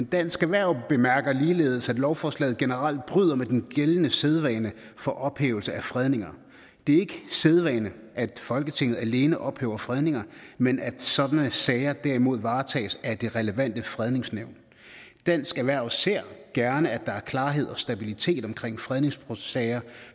dansk erhverv bemærker ligeledes at lovforslaget generelt bryder med den gældende sædvane for ophævelse af fredninger det er ikke sædvane at folketinget alene ophæver fredninger men at sådan sager derimod varetages af det relevante fredningsnævn dansk erhverv ser gerne at der er klarhed og stabilitet omkring fredningssager